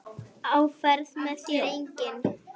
Á ferð með þér enginn.